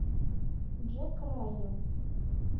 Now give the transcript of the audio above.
джек райан